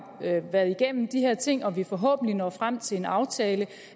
været igennem de her ting og vi forhåbentlig når frem til en aftale